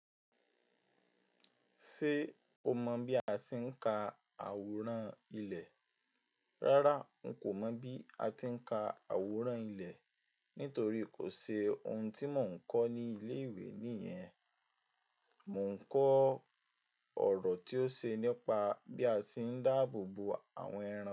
Ṣé o mọ̀ bí a ti ń ka àwòrán ilẹ̀? Rárá, n kò mọ̀ bí a ti ń ka àwòrán ilẹ̀ nítorí kò ṣe ohun tí mò ń kọ́ ní ilé ìwé nìyẹn. Mò ń kọ ọ̀rọ̀ tí ó ṣe nípa bí a ti ń dáàbò bo àwọn ẹran.